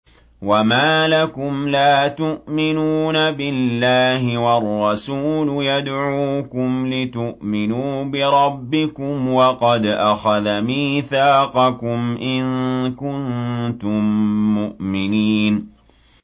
وَمَا لَكُمْ لَا تُؤْمِنُونَ بِاللَّهِ ۙ وَالرَّسُولُ يَدْعُوكُمْ لِتُؤْمِنُوا بِرَبِّكُمْ وَقَدْ أَخَذَ مِيثَاقَكُمْ إِن كُنتُم مُّؤْمِنِينَ